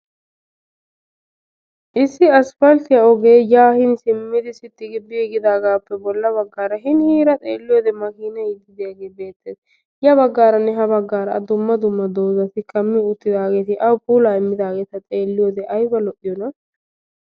Issi aspaltiyaa ogee yaa siimmidi biigidaagappe bolla baggaara hiniira xeeliyoode maakinaay yiidi diyaage beettees. ya baggaranne ha baggaara dumma dumma doozati kaammi uttidaageti awu puulaa immidaageta xeeliyoode ayba lo'iyoonaa!